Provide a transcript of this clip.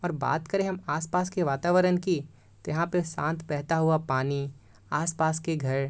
और बात करें हम आसमान के वातावरण की तो यहाँ पर शांत बहता हुआ पानी आसपास के घर --